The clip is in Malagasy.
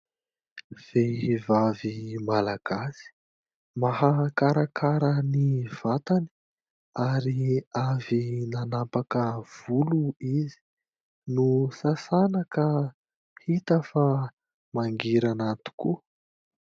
Vehivavy Malagasy mahakarakara ny vatany, ary avy nanapaka volo izy ; nosasana ka hita fa mangirana tokoa.